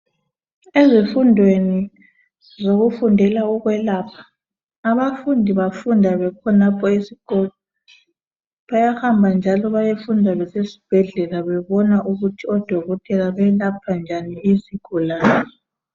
Ezifundweni zokufundela okwelapha, abafundi bafunda bekhonapho esikolo bayahamba njalo bayefunda besesibhedlela bebona ukuthi odokotela balapha njani izigulane.